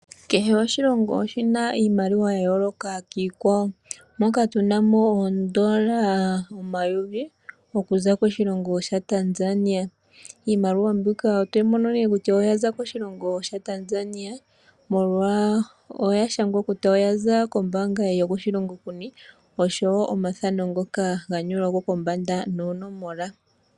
Kehe oshilongo oshina iimaliwa ya yoolka kiikwawo moka tuna mo oondola omayovi okuza koTanzania. Iimaliwa mbika otoyi mono kutya oyaza koshilongo shaTanzania, molwaashoka oya shangwa kutya oyaza kombaanga yokoshilongo kuni nomathano ngoka ga nyolwa ko kombanda noonomola.